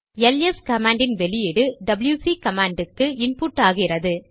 LS command இன் output WC command க்கு input ஆகிறது